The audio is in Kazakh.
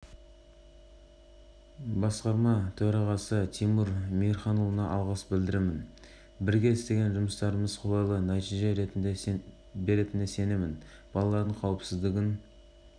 бүгінде біз баян сұлу бірлесе жаңажылдық тәтті қорапшаларының топтамасын шығардық бізбен серіктес болған баян сұлу президенті